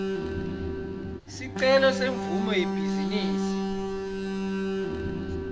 sicelo semvumo yebhizinisi